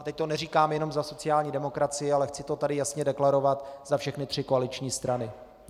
A teď to neříkám jenom za sociální demokracii, ale chci to tady jasně deklarovat za všechny tři koaliční strany.